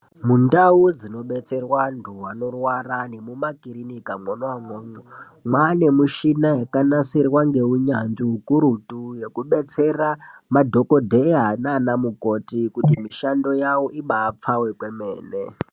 Mundau dzinobetserwa antu anorwara nemumakirinika mwona imwomwo, mwane mishina yakanasirwa ngeunyanzvi hukurutu, yekubetsera madhokodheya nana mukoti kuti mishando yavo ibapfave kwemene.